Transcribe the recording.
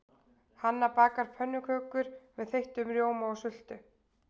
Hanna bakar pönnukökur með þeyttum rjóma og sultu.